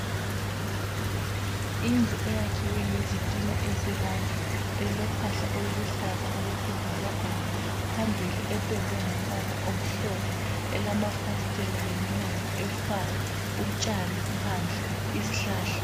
Indlu eyakhiwe ngezitina ezibomvu elophahla oluluhlaza kwesibhakabhaka phambili ependwe ngombala omhlophe elamafasiteli leminyango efayo utshani phandle izihlahla.